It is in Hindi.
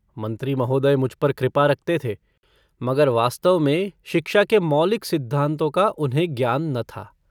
मन्त्री महोदय मुझ पर कृपा रखते थे ,मगर वास्तव में शिक्षा के मौलिक सिद्धान्तों का उन्हें ज्ञान न था।